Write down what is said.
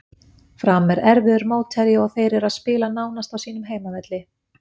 Fram er erfiður mótherji og þeir eru að spila nánast á sínum heimavelli.